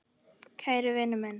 Kæri vinur minn.